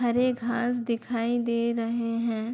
हरे घांस दिखाई दे रहे हैं।